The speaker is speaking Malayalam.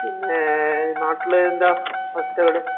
പിന്നെ നാട്ടില് ന്താ അവസ്ഥകള് ?